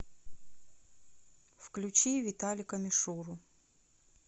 включи виталика мишуру